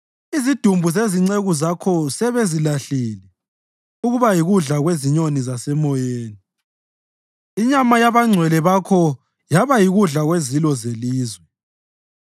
Izidumbu zezinceku zakho sebezilahlile ukuba yikudla kwezinyoni zasemoyeni, inyama yabangcwele bakho yaba yikudla kwezilo zelizwe.